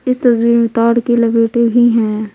इस तस्वीर में तार के लपेटे भी हैं।